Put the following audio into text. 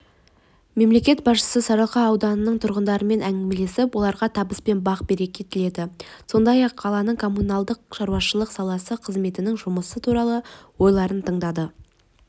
мемлекет басшысы сарыарқа ауданының тұрғындарымен әңгімелесіп оларға табыс пен бақ-береке тіледі сондай-ақ қаланың коммуналдық шаруашылық саласы қызметінің жұмысы туралы ойларын тыңдады